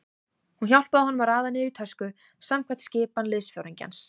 Hún hjálpaði honum að raða niður í tösku samkvæmt skipan liðsforingjans.